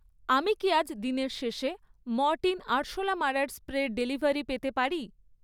আমি কি আজ দিনের শেষে মরটিন আরশোলা মারার স্প্রের ডেলিভারি পেতে পারি?